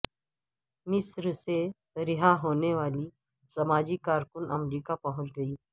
مصر سے رہا ہونے والی سماجی کارکن امریکہ پہنچ گئیں